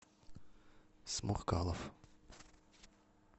сморкалов